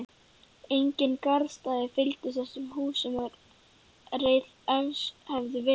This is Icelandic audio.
Engin garðstæði fylgdu þessum húsum, ef reist hefðu verið.